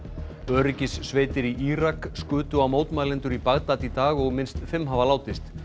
öryggissveitir í Írak skutu á mótmælendur í Bagdad í dag og minnst fimm hafa látist